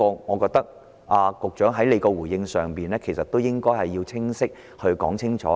我覺得局長在回應這一點時要清晰地加以闡述。